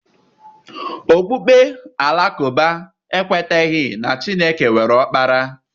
Okpukpe Alakụba ekwetaghị na Chineke nwere Ọkpara.